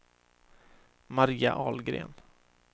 Maria Ahlgren